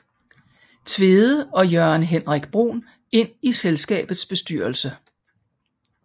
Tvede og Jørgen Henrik Bruhn ind i selskabets bestyrelse